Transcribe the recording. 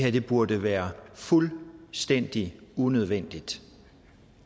at det burde være fuldstændig unødvendigt